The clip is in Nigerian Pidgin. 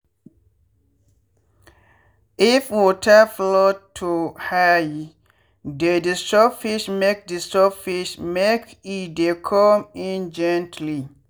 if water flow to highe dey disturb fish-make disturb fish-make e dey come in gently.